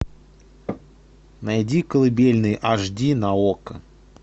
найди колыбельные аш ди на окко